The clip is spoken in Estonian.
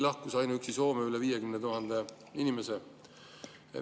Ainuüksi Soome lahkus üle 50 000 inimese.